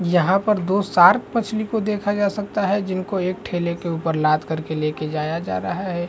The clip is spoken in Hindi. यहाँ पर दो शार्क मछली को देखा जा सकता है जिनको एक ठेले के ऊपर लाद कर के लेके जाया जा रहा हैं।